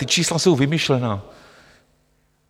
Ta čísla jsou vymyšlená.